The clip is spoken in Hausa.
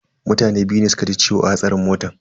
Mutane biyu ne suka ji ciwo a hatsarin motan.